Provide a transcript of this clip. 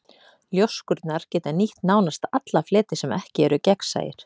Ljóskurnar geta nýtt nánast alla fleti sem ekki eru gegnsæir.